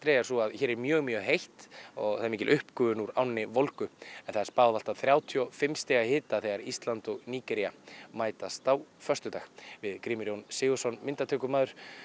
er sú að hér er mjög mjög heitt og það er mikil uppgufun úr ánni volgu en það er spáð allt að þrjátíu og fimm stiga hita þegar Ísland og Nígería mætast á föstudag við Grímur Jón Sigurðsson myndatökumaður